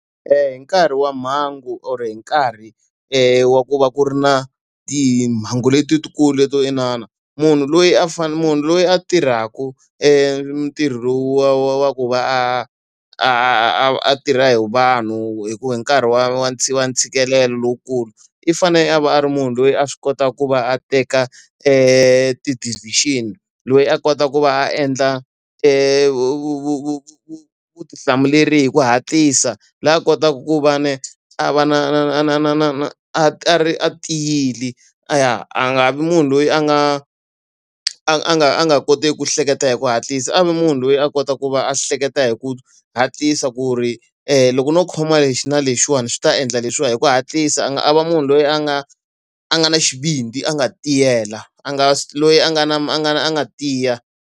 hi nkarhi wa mhangu or hi nkarhi wa ku va ku ri na timhangu letikulu to inana, munhu loyi a munhu loyi a tirhaka ntirho lowu wa wa wa ku va a a va a tirha hi vanhu hi nkarhi wa wa wa ntshikelelo lowukulu, i fanele a va a ri munhu loyi a swi kotaka ku va a teka ti-decision, loyi a kota ku va a endla vutihlamuleri hi ku hatlisa. Loyi a kotaka ku va na a va na na na na na na na a a tiyile. A nga vi munhu loyi a nga a nga a nga kotiki ku hleketa hi ku hatlisa, a va munhu loyi a kota ku va a hleketa hi ku hatlisa ku ri loko no khoma lexi na lexiwani swi ta endla leswiwa hi ku hatlisa, a nga a va munhu loyi a nga a nga ni xivindzi a nga tiyela, a nga loyi a nga na a nga a nga tiya.